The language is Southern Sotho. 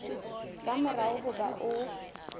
ka mora ho ba o